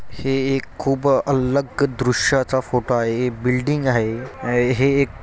हे एक खूप अलग दृश्याचा फोटो आहे. हे बिल्डिंग आहे. हे एक--